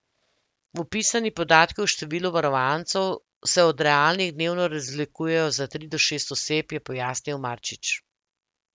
Vpisani podatki o številu varovancev se od realnih dnevno razlikujejo za tri do šest oseb, je pojasnil Marčič.